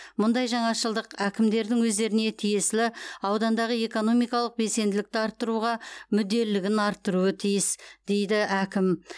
мұндай жаңашылдық әкімдердің өздеріне тиесілі аудандағы экономикалық белсенділікті арттыруға мүдделілігін арттыруы тиіс дейді әкім